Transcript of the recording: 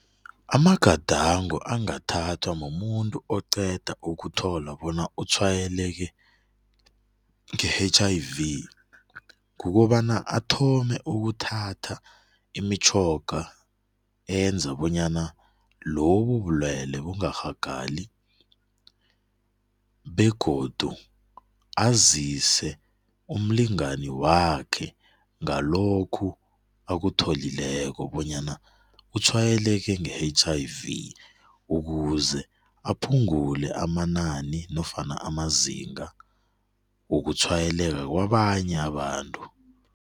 Amagadango angathathwa mumuntu oceda okuthola bona utshwayeleke nge-H_I_V kukobana athome ukuthatha imitjhoga enza bonyana lobubulwele bungarhagali begodu azise umlingani wakhe ngalokhu akutholileko bonyana utshwayeleke nge-H_I_V ukuze aphungule amanani nofana amazinga wokutshwayeleka kwabanye abantu.